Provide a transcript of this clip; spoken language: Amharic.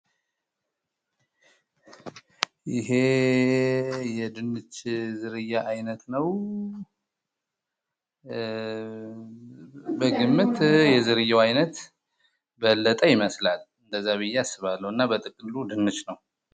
ይሄ የድንች ዝርያ አይነት ነው በግምት የዝርያው አይነት በለጠ ይመስላል እንደዛ ብየ አስባለሁ እና በጥቅሉ ድንች ነው